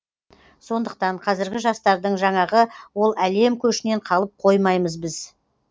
сондықтан қазіргі жастардың жаңағы ол әлем көшінен қалып қоймаймыз біз